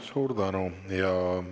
Suur tänu!